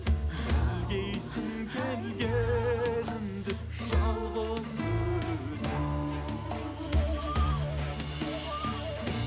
білгейсің келгенімді жалғыз өзім